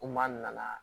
Ko n'a nana